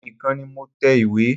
Èmi nìkan ni mo tẹ ìwé.